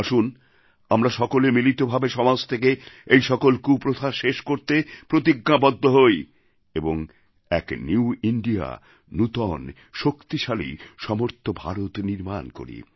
আসুন আমরা সকলে মিলিত ভাবে সমাজ থেকে এই সকল কুপ্রথা শেষ করতে প্রতিজ্ঞাবদ্ধ হই এবং এক নিউ ইন্দিয়া নূতন শক্তিশালী সমর্থ ভারত নির্মাণ করি